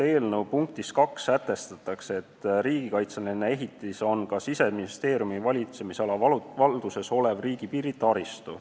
Eelnõu teises punktis sätestatakse, et riigikaitseline ehitis on ka Siseministeeriumi valitsemisala valduses olev riigipiiri taristu.